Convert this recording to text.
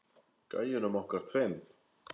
Gæjunum okkar tveim.